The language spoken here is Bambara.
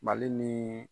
Mali ni